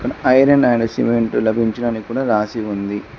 Iron and cement లభించును అని కూడా రాసి ఉంది.